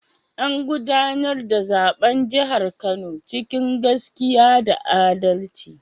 An gudanar da zaben jihar Kano cikin gaskiya da adalci.